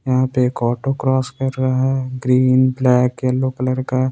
यहां पे एक ऑटो क्रॉस कर रहा है ग्रीन ब्लैक येलो कलर का।